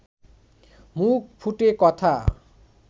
মুখ ফুটে কথা